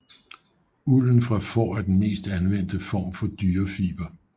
Ulden fra får er den mest anvendte form for dyrefiber